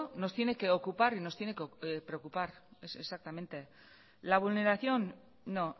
nos tiene que ocupar y nos tiene que preocupar la vulneración no